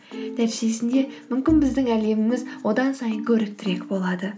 нәтижесінде мүмкін біздің әлеміміз одан сайын көріктірек болады